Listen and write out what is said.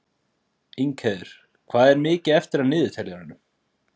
Ingheiður, hvað er mikið eftir af niðurteljaranum?